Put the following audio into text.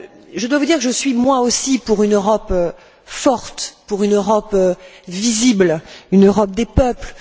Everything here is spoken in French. Je dois vous dire que je suis, moi aussi, pour une Europe forte, pour une Europe visible, une Europe des peuples